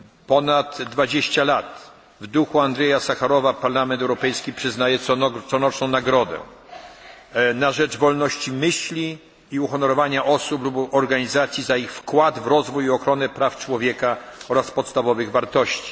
ponad 20 lat, w duchu Andrieja Sacharowa Parlament Europejski przyznaje coroczną nagrodę na rzecz wolności myśli i uhonorowania osób lub organizacji za ich wkład i rozwój w ochronę praw człowieka oraz podstawowych wartości.